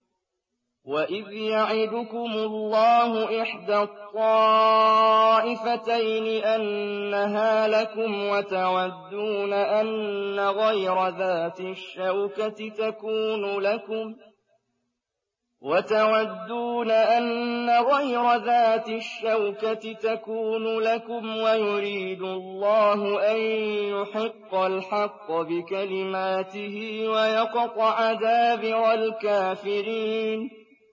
وَإِذْ يَعِدُكُمُ اللَّهُ إِحْدَى الطَّائِفَتَيْنِ أَنَّهَا لَكُمْ وَتَوَدُّونَ أَنَّ غَيْرَ ذَاتِ الشَّوْكَةِ تَكُونُ لَكُمْ وَيُرِيدُ اللَّهُ أَن يُحِقَّ الْحَقَّ بِكَلِمَاتِهِ وَيَقْطَعَ دَابِرَ الْكَافِرِينَ